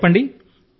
మాకు చెప్పండి